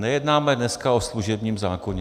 Nejednáme dneska o služebním zákoně.